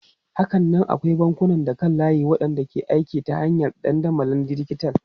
Hakanan akwai bankunan kan layi waɗanda ke aiki ta hanyar dandamalin dijital.